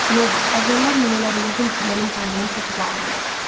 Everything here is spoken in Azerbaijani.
"Meybl, əvvəllər mən elə bilirdim ki, mənim taleyim çox uzaqlımdır.